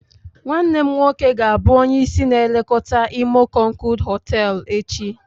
Nwanne m nwoke ga-abụ onye isi na-elekọta imo konkood hoteelu echi.